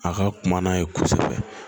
A ka kuma n'a ye kosɛbɛ